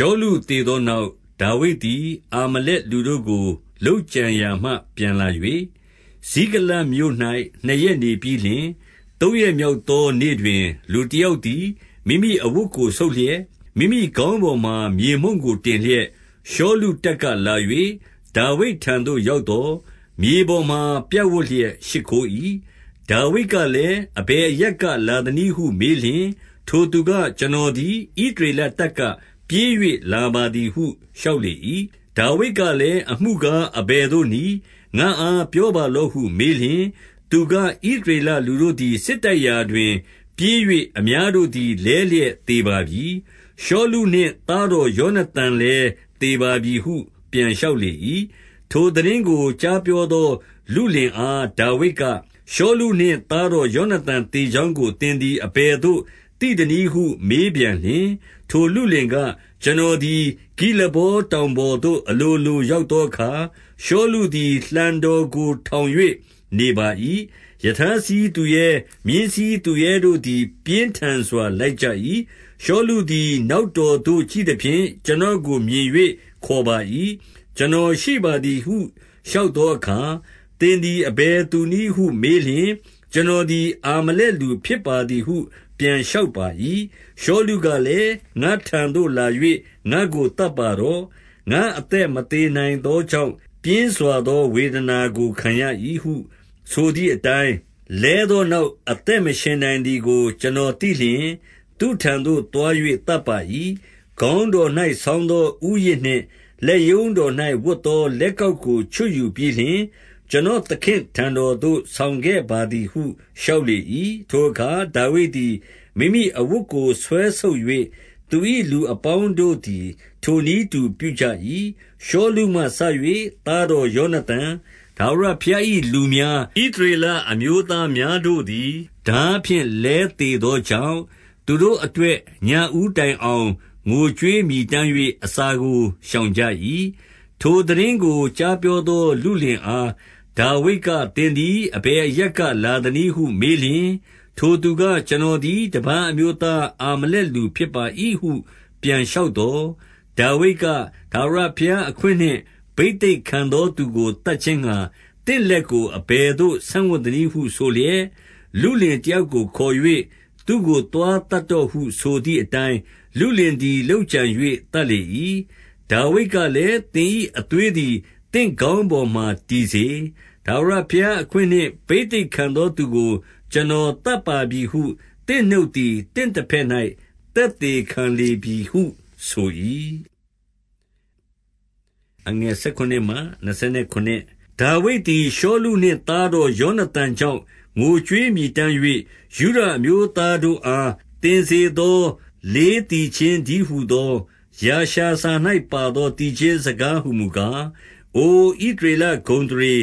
ှောလုသေသောနောက်၊ ဒါဝိဒ်သည် အာမလတ်လူတို့ကို လုပ်ကြံရာမှပြန်လာ၍၊ ဇိကလတ်မြို့၌ နှစ်ရက်နေပြီးလျှင်၊ 2 သုံးရက်မြောက်သောနေ့တွင် လူတယောက်သည် မိမိအဝတ်ကိုဆုတ်လျက်၊ မိမိခေါင်းပေါ်မှာ မြေမှုန့်ကို တင်လျက်၊ ရှောလုတပ်ကလာ၍၊ ဒါဝိဒ်ထံသို့ရောက်သော်၊ မြေပေါ်မှာ ပြပ်ဝပ်လျက်ရှိခိုး၏။ 3 ဒါဝိဒ်ကလည်း၊ အဘယ်အရပ်ကလာသနည်းဟု မေးလျှင်၊ ထိုသူက ကျွန်တော်သည် ဣသရေလတပ်က ပြေး၍လာပါသည်ဟု လျှောက်လေ၏။ 4 ဒါဝိဒ်ကလည်း၊ အမှုကားအဘယ်သို့နည်း။ ငါ့အားပြောပါလော့ဟုမေးလျှင်၊ သူက ဣသရေလလူတို့ သည် စစ်တိုက်ရာတွင် ပြေး၍အများတို့သည် လဲလျက်သေပါပြီ။ ရှောလုနှင့် သားတော်ယောနသန်လည်း သေပါပြီဟု ပြန်လျှောက်လေ၏။ 5 ထိုသိတင်းကိုကြားပြောသောလုလင်အား ဒါဝိဒ်က၊ ရှောလုနှင့် သားတော်ယောနသန် သေကြောင်းကို သင်သည်အဘယ်သို့ သိသနည်းဟုမေးပြန်လျှင်၊ 6 ထိုလုလင်က၊ ကျွန်တော်သည် ဂိလဗောတောင်ပေါ်သို့ အလိုလိုရောက်သောအခါ၊ ရှောလုသည် လှံတော်ကို ထောင်၍နေပါ၏။ ရထားစီးသူရဲ မြင်းစီးသူရဲတို့သည် ပြင်းထန်စွာလိုက်ကြ၏။ 7 ရှောလုသည် နောက်တော်သို့ ကြည့်သဖြင့် ကျွန်တော်ကိုမြင်၍ခေါ်ပါ၏။ 8 ကျွန်တော်ရှိပါသည်ဟု လျှောက်သောအခါ၊ သင်သည် အဘယ်သူနည်းဟုမေးလျှင်၊ ကျွန်တော်သည် အာမလက်လူဖြစ်ပါသည်ဟု ပြန်လျှောက်ပါ၏။ 9 ရှောလုကလည်း၊ ငါ့ထံသို့လာ၍ ငါ့ကိုသတ်ပါတော့။ ငါ့အသက်မသေနိုင်သောကြောင့် ပြင်းစွာသော ဝေဒနာကို ခံရ၏ဟုဆိုသည်အတိုင်း၊ 10 လဲသောနောက် အသက်မရှင်နိုင်သည်ကို ကျွန်တော်သိလျှင် သူ့ထံသို့သွား၍သတ်ပါ၏။ ခေါင်းတော် ၌ဆောင်းသောဦးရစ်နှင့်လက်ရုံးတော်၌ဝတ်သောလက်ကောက်ကို ချွတ်ယူပြီးလျှင်၊ ကျွန်တော်သခင့်ထံတော်သို့ ဆောင်ခဲ့ပါသည်ဟု လျှောက်လေ၏။ 11 ထိုအခါ ဒါဝိဒ်သည် မိမိအဝတ်ကိုဆွဲဆုတ်၍၊ သူ၏လူအပေါင်းတို့သည် ထိုနည်းတူပြုကြ၏။ 12 ရှောလုမှစ၍ သားတော်ယောနသန်၊ ထာဝရဘုရား၏လူများ၊ ဣသရေလအမျိုးသားတို့သည် ထားဖြင့် လဲသေသောကြောင့်၊ သူတို့အတွက် ညဦးတိုင်အောင် ငိုကြွေးမြည်တမ်း၍ အစာကိုရှောင်ကြ၏။ 13 ထိုသိတင်းကိုကြားပြောသော လုလင်အား ဒါဝိဒ်က၊ သင်သည် အဘယ်အရပ်ကလာသနည်းဟုမေးလျှင်၊ ထိုသူက ကျွန်တော်သည် တပါးအမျိုးသား အာမလက်လူ ဖြစ်ပါ၏ဟုပြန်လျှောက်သော်၊ 14 ဒါဝိဒ်က၊ ထာဝရဘုရားအခွင့်နှင့် ဘိသိက်ခံသောသူကို သတ်ခြင်းငှါ သင့်လက်ကိုအဘယ်သို့ ဆန့်ဝံ့ သနည်းဟုဆိုလျက်၊ 15 လုလင်တယောက်ကိုခေါ်၍၊ သူ့ကို သွားသတ်တော့ဟုဆိုသည်အတိုင်း၊ လုလင်သည် လုပ်ကြံ၍ သတ် လေ၏။ 16 ဒါဝိဒ်ကလည်း၊ သင်၏အသွေးသည် သင့်ခေါင်းပေါ်မှာတည်စေ။ ထာဝရဘုရားအခွင့်နှင့် ဘိသိက်ခံသောသူကို ကျွန်တော်သတ်ပါပြီဟု သင့်နှုတ်သည် သင့်ဘက်၌ သက်သေခံလေပြီဟုဆို၏။ 17 ဒါဝိဒ်သည် ရှောလုနှင့်သားတော် ယောနသန်ကြောင့် ငိုကြွေးမည်တမ်း၍၊ 18 ယုဒအမျိုးသားတို့အား သင်စေသော လေး သီချင်းတည်းဟူသော ယာရှာစာ၌ပါသော သီချင်းစကား ဟူမူကား၊ 19 အိုဣသရေလဂုဏ်အသရေ၊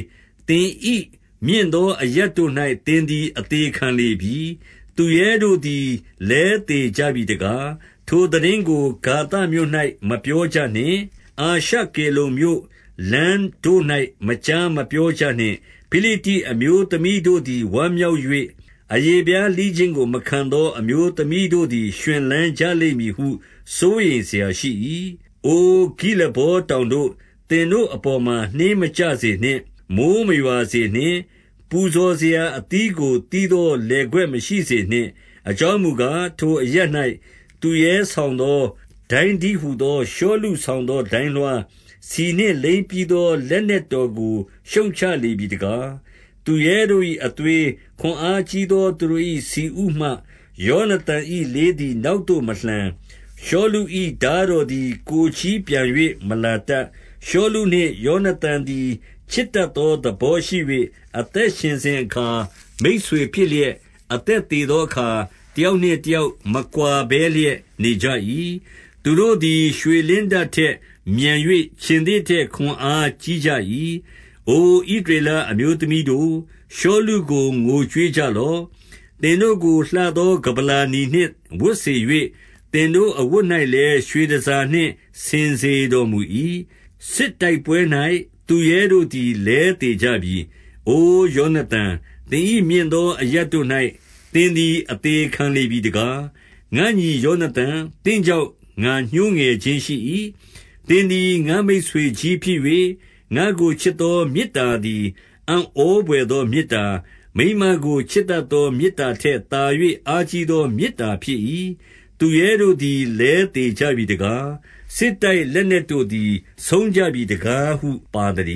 သင်၏မြင့်သောအရပ်တို့၌ သင်သည် အသေခံလေပြီ။ သူရဲတို့သည် လဲသေကြပြီတကား။ 20 ထိုသိတင်းကို ဂါသမြို့၌မပြောကြနှင့်။ အာရှကေလုန်မြို့လမ်းတို့၌ မကြားမပြောကြနှင့်။ ဖိလိတ္တိအမျိုး သမီးတို့သည် ဝမ်းမြောက်၍ အရေဖျားလှီးခြင်းကို မခံသော အမျိုးသမီးတို့သည် ရွှင်လန်းကြလိမ့်မည်ဟု စိုးရိမ် စရာရှိ၏။ 21 အိုဂိလဗောတောင်တို့၊ သင်တို့အပေါ်မှာ နှင်းမကျစေနှင့်။ မိုဃ်းမရွာစေနှင့်။ ပူဇော်စရာအသီးကိုသီးသော လယ်ကွက်မရှိစေနှင့်။ အကြောင်းမူကား၊ ထိုအရပ်၌ သူရဲဆောင်သော ဒိုင်းတည်းဟူသောရှောလု ဆောင်သောဒိုင်းလွှား၊ ဆီနှင့်လိမ်းပြီးသော လက်နက်တော်ကို ရှုတ်ချလေပြီတကား။ 22 သူရဲတို့၏အသွေး၊ ခွန်အားကြီးသော သူတို့၏ ဆီဥမှ ယောနသန်၏လေးသည် နောက်သို့မလှန်။ ရှောလု ၏ထားတော်သည် ကိုယ်ချည်းပြန်၍ မလာတတ်။ 23 ရှောလုနှင့်ယောနသန်သည် ချစ်တတ်သောသဘောရှိ၍ အသက်ရှင်စဉ်အခါ မိတ်ဆွေဖြစ်လျက်၊ အသက်သေသောအခါ တယောက်နှင့် တယောက်မကွာ ဘဲလျက်နေကြ၏။ သူတို့သည် ရွှေလင်းတထက်မြန်၍ ခြင်္သေ့ထက် ခွန်အားကြီးကြ၏။ 24 အိုဣသရေလအမျိုးသမီးတို့၊ ရှောလုကို ငိုကြွေးကြလော့။ သင်တို့ကို လှသော ကမ္ဗလာနီနှင့် ဝတ်စေ၍၊ သင်တို့အဝတ်၌လည်း ရွှေတန်ဆာနှင့် ဆင်စေတော် မူ၏။ 25 စစ်တိုက်ပွဲ၌ သူရဲတို့သည် လဲသေကြပြီ။ အို ယောနသန်၊ သင်၏ မြင့်သောအရပ်တို့၌သင်သည် အသေခံ လေပြီတကား။ 26 ငါ့ညီယောနသန်၊ သင့်ကြောင့် ငါညှိုးငယ်ခြင်းရှိ၏။ သင်သည် ငါ့မိတ်ဆွေကြီးဖြစ်၍၊ ငါ့ကိုချစ်သော မေတ္တာသည် အံ့ဩဘွယ်သောမေတ္တာ၊ မိန်းမကို ချစ်တတ်သော မေတ္တာထက်သာ၍၊ အားကြီးသောမေတ္တာဖြစ်၏။ 27 သူရဲတို့သည်းသေကြပြီတကား။ စစ်တိုက် လက်နက်တို့သည် ဆုံကြပြီးတကားဟု ပါသတ